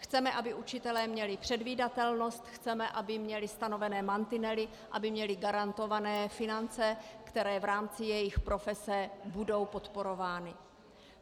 Chceme, aby učitelé měli předvídatelnost, chceme, aby měli stanovené mantinely, aby měli garantované finance, které v rámci jejich profese budou podporovány.